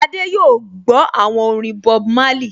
Adé yóò gbọ́ àwọn orin Bob Marley